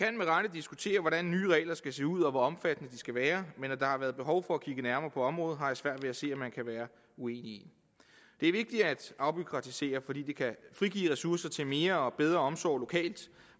diskutere hvordan nye regler skal se ud og hvor omfattende de skal være men at der har været behov for at kigge nærmere på området har jeg svært ved at se at man kan være uenig i det er vigtigt at afbureaukratisere fordi det kan frigive ressourcer til mere og bedre omsorg lokalt